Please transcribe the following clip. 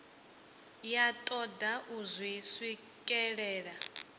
ya toda u zwi swikelela